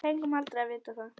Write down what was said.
Fengum aldrei að vita það.